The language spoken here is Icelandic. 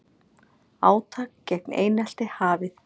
Átak gegn einelti hafið